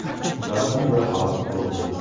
Ulardan biri halok bo‘ldi.